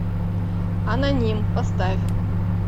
аноним поставь